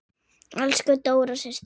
Elsku Dóra systir.